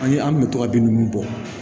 An ye an kun bɛ to ka bin ninnu bɔ